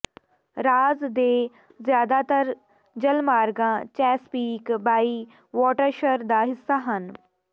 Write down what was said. ਰਾਜ ਦੇ ਜ਼ਿਆਦਾਤਰ ਜਲਮਾਰਗਾਂ ਚੈਸਪੀਕ ਬਾਇ ਵਾਟਰਸ਼ਰ ਦਾ ਹਿੱਸਾ ਹਨ